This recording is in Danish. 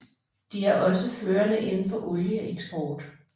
De er også førende inden for olieeksport